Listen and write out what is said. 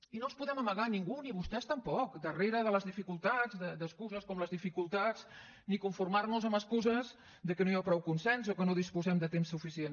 i no ens podem amagar ningú ni vostès tampoc darrere de les dificultats d’excuses com les dificultats ni conformar nos amb excuses que no hi ha prou consens o que no disposem de temps suficient